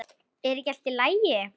Er ekki allt í lagi?